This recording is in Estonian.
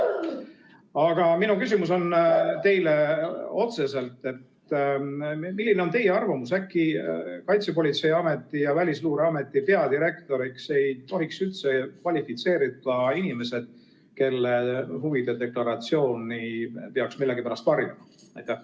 Aga minu küsimus on teile otseselt: milline on teie arvamus, äkki Kaitsepolitseiameti ja Välisluureameti peadirektoriks ei tohiks üldse kvalifitseeruda inimesed, kelle huvide deklaratsiooni peaks millegipärast varjama?